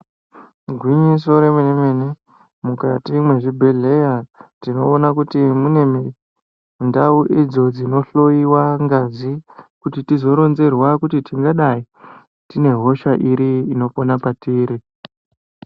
Igwinyiso re mene mene mukati mwe zvibhedhleya tino ona kuti mune mindau idzo dzino hloyiwa ngazi kuti tizo ronzerwa kuti tingadai tine hosha iri inopona patiri.